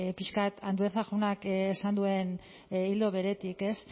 pixka bat andueza jaunak esan duen ildo beretik